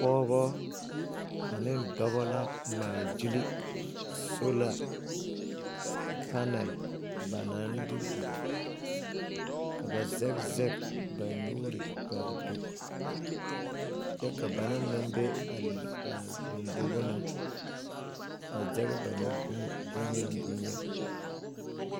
Pɔgebɔ ane dɔba la ŋmaa gyili sola panɛl ba naŋ de biŋ ka ba zɛge zɛge ba nuuri ka a do kyɛ ka bana naŋ be a lombogo na a zɛge ba nu boŋyeni boŋyeni.